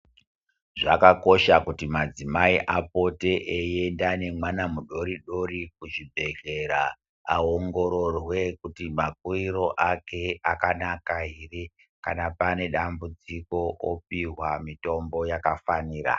Zvakakosha kuti madzimai apote eienda nemwana mudoridori kuchibhedhlera ,aongororwe kuti makuriro ake akanaka here, kana pane dambudziko opihwa mitombo yakafanira.